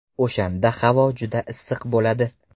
O‘shanda havo juda issiq bo‘ladi.